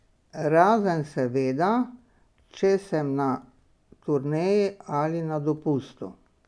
Razen, seveda, če sem na turneji ali na dopustu.